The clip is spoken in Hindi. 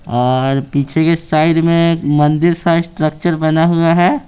और पीछे के साइड में मंदिर सा स्ट्रक्चर बना हुआ है।